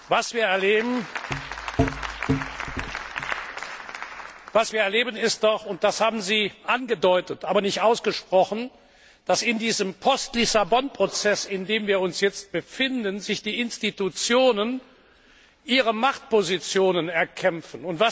Was wir erleben ist doch und das haben Sie angedeutet, aber nicht ausgesprochen dass sich in diesem Post Lissabon Prozess, in dem wir uns jetzt befinden, die Institutionen ihre Machtpositionen erkämpfen.